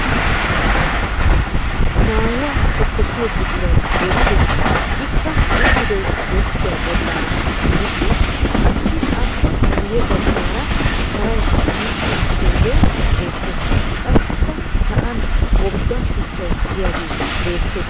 Maayuwa tokkosiyo buquray beettees. Ikka uttidoy deskkiya bollaana gidishin qassi aappe guye baggaara sharay kammi uttidaage beettees. Qassikka sa'an wogga shuchchay diyage beettees.